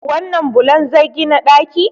wannan bulon zai gina ɗaki?